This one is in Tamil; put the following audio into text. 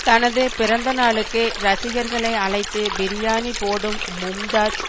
தனது பிறந்தநாளுக்கு ரசிகர்களை அழைத்து பிரியாணி போடும் மும்தாஜ்